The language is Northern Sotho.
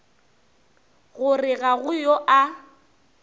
gore ga go yo a